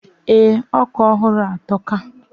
Ee, oka ohuru a atoka.